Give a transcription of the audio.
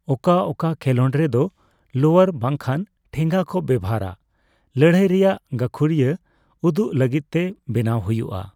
ᱚᱠᱟ ᱚᱠᱟ ᱠᱷᱮᱞᱟᱹᱰ ᱨᱮᱫᱚ ᱞᱳᱭᱟᱨ ᱵᱟᱝ ᱠᱷᱟᱱ ᱴᱷᱮᱸᱜᱟ ᱠᱚ ᱵᱮᱵᱷᱟᱨᱟ ᱞᱟᱹᱲᱦᱟᱹᱭ ᱨᱮᱭᱟᱜ ᱜᱟᱹᱠᱷᱩᱨᱤᱭᱟᱹ ᱩᱫᱩᱜ ᱞᱟᱹᱜᱤᱫ ᱛᱮ ᱵᱮᱱᱟᱣ ᱦᱩᱭᱩᱜ ᱼᱟ ᱾